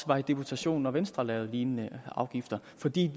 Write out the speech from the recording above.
var i deputation når venstre lavede lignende afgifter fordi